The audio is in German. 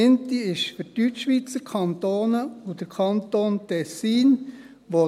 Die erste, zu welcher der Kanton Bern gehört, ist für Deutschschweizer Kantone und den Kanton Tessin .